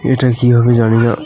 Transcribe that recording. এটা কি হবে জানি না .